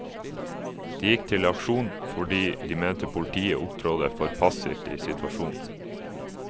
De gikk til aksjon, fordi de mente politiet opptrådte for passivt i situasjonen.